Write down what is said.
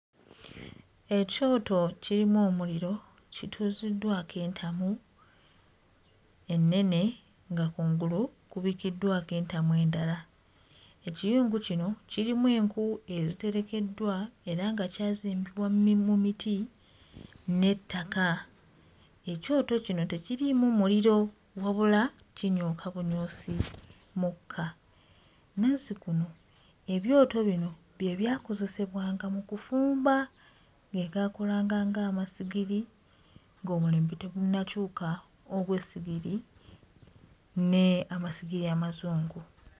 Ekyoto kirimu omuliro, kituuziddwako entamu ennene nga kungulu kubikkiddwako entamu endala. Ekiyungu kino kirimu enku eziterekeddwa era nga kyazimbibwa mu miti n'ettaka. Ekyoto kino tekiriimu muliro wabula kinyooka bunyoosi mukka. Nazzikuno ebyoto bino bye byakozesebwanga mu kufumba, ge gaakolanga ng'amasigiri ng'omulembe tegunnakyuka ogw'essigiri n'amasigiri amazungu.